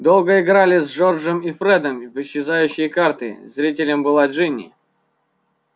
долго играли с джорджем и фредом в исчезающие карты зрителем была джинни